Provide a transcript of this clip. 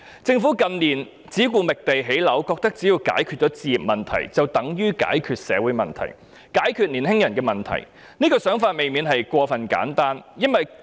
政府近年只顧覓地建屋，認為只要解決置業問題，就等於解決了社會問題、解決了青年人的問題，這種想法便未免過於簡單。